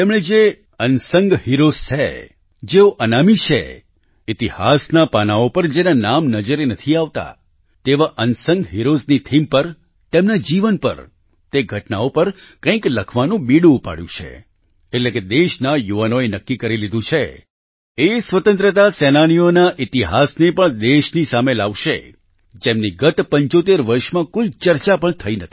તેમણે જે unsung heroes છે જેઓ અનામી છે ઈતિહાસના પાનાંઓ પર જેના નામ નામ નજરે નથી આવતાં તેવા અનસંગ Heroesની થીમ પર તેમના જીવન પર તે ઘટનાઓ પર કંઈક લખવાનું બીડું ઉપાડ્યું છે એટલે કે દેશના યુવાનોએ નક્કી કરી લીધું છે એ સ્વતંત્રતા સેનાનીઓના ઈતિહાસને પણ દેશની સામે લાવશે જેમની ગત 75 વર્ષમાં કોઈ ચર્ચા પણ નથી થઈ